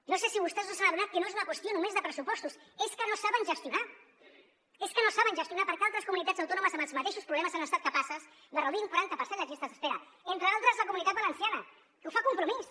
no sé si vostès no s’han adonat que no és una qüestió només de pressupostos és que no saben gestionar és que no saben gestionar perquè altres comunitats autònomes amb els mateixos problemes han estat capaces de reduir un quaranta per cent les llistes d’espera entre altres la comunitat valenciana que ho fa compromís